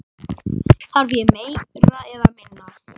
Þarf ég meira eða minna?